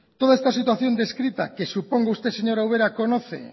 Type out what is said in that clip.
toda esta situación descrita que supongo que usted señora ubera conoce